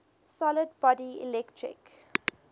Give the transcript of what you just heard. solid body electric